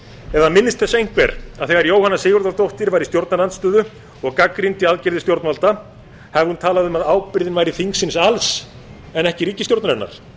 eða minnist þess einhver að þegar jóhanna sigurðardóttir var í stjórnarandstöðu og gagnrýndi aðgerðir stjórnvalda hafi hún talað um að ábyrgðin væri þingsins alls en ekki ríkisstjórnarinnar